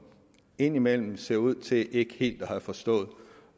indimellem ser ud til ikke helt at have forstået